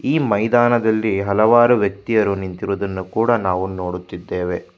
ಈ ಮೈದಾನದಲ್ಲಿ ಹಲವಾರು ವ್ಯಕ್ತಿಯರು ನಿಂತಿರುವುದನ್ನು ಕೂಡ ನಾವು ನೋಡುತ್ತಿದ್ದೇವೆ.